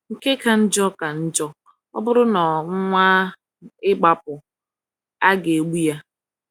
Nke ka njọ ka njọ, ọ bụrụ na ọ nwaa ịgbapụ, aga egbu ya.